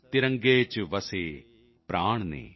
ਤਿਰੰਗੇ ਚ ਵਸੇ ਪ੍ਰਾਣ ਨੇ